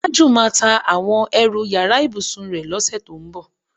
Tájù máa ta àwo̩n e̩rù yàrá ìbùsùn rè̩ ló̩sè̩ tó ń bò̩.